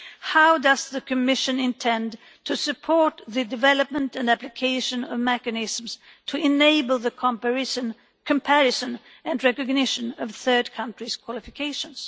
How does the Commission intend to support the development and application of mechanisms to enable the comparison and recognition of third countries' qualifications?